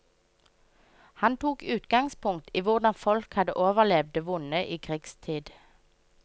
Han tok utgangspunkt i hvordan folk hadde overlevd det vonde i krigstid.